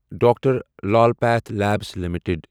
doctor Lal PathLabs limited